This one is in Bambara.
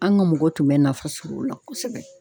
An ga mɔgɔw tun bɛ nafa sɔrɔ o la kosɛbɛ